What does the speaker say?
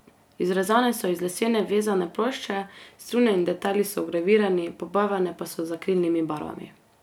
Izrezane so iz lesene vezane plošče, strune in detajli so vgravirani, pobarvane pa so z akrilnimi barvami.